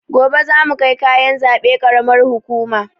Gobe zamu kai kayan zaɓe karamar hukuma